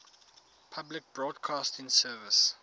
public broadcasting service